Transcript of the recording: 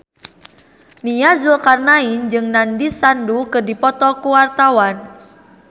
Nia Zulkarnaen jeung Nandish Sandhu keur dipoto ku wartawan